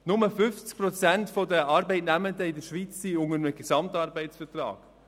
Nur 50 Prozent der Arbeitnehmenden in der Schweiz unterstehen einem GAV.